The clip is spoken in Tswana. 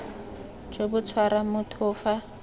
jo bo tshwarang motho fa